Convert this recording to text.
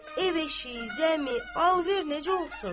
Ev eşiyi, zəmi, alver necə olsun?